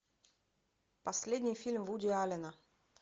последний фильм вуди аллена